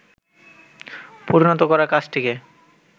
পরিণত করার কাজটিকে